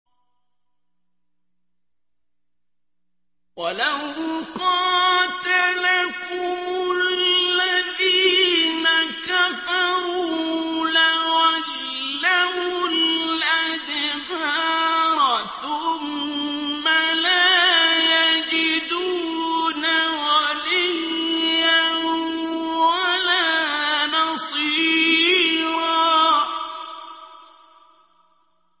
وَلَوْ قَاتَلَكُمُ الَّذِينَ كَفَرُوا لَوَلَّوُا الْأَدْبَارَ ثُمَّ لَا يَجِدُونَ وَلِيًّا وَلَا نَصِيرًا